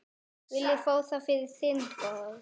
Viljið fá það fyrir þingrof?